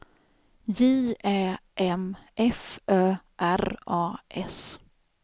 J Ä M F Ö R A S